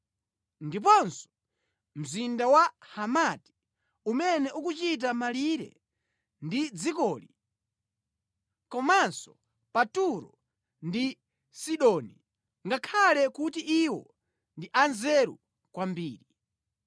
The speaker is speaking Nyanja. ndiponso mzinda wa Hamati, umene ukuchita malire ndi dzikoli, komanso pa Turo ndi Sidoni, ngakhale kuti iwo ndi anzeru kwambiri.